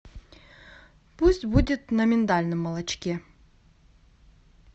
пусть будет на миндальном молочке